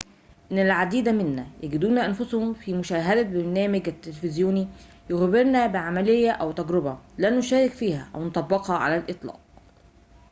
إن العديد منا يجدون أنفسهم في مشاهدة برنامج تلفزيوني يخبرنا بعمليةٍ أو تجربةٍ لن نشارك فيها أو نطبقها على الإطلاق